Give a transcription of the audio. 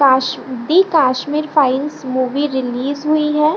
Cos the Kashmir file movie release हुई है।